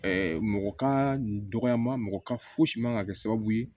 mɔgɔ ka dɔgɔyama mɔgɔ ka fosi man ka kɛ sababu ye